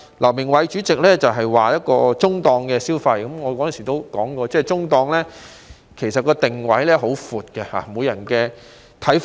劉鳴煒主席之前提到這會是中檔消費，我當時曾說，其實中檔的定位很闊，每個人也有不同的看法。